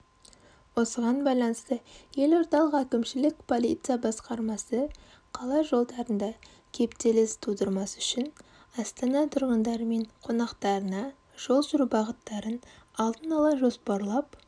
осыған байланысты елордалық әкімшілік полиция басқармасы қала жолдарында кептеліс тудырмас үшін астана тұрғындары мен қонақтарына жол жүру бағыттарын алдын ала жоспарлап